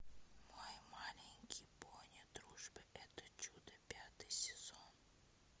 мой маленький пони дружба это чудо пятый сезон